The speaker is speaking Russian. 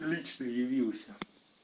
лично явился